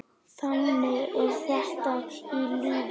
Þannig er þetta í lífinu.